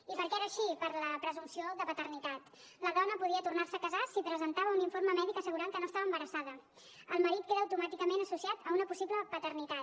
i per què era així per la presumpció de paternitat la dona podia tornar se a casar si presentava un informe mèdic assegurant que no estava embarassada el marit queda automàticament associat a una possible paternitat